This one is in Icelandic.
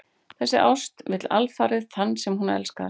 Þessi ást vill alfarið þann sem hún elskar.